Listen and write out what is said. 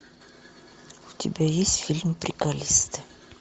у тебя есть фильм приколисты